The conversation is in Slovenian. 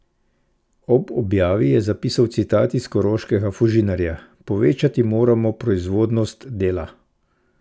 Ob objavi je zapisal citat iz koroškega Fužinarja: "Povečati moramo 'proizvodnost' dela.